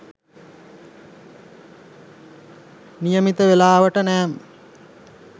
නියමිත වේලාවට නෑම